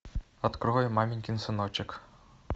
открывай маменькин сыночек